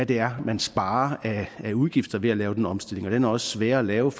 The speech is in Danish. det er man sparer af udgifter ved at lave den omstilling og den er også sværere at lave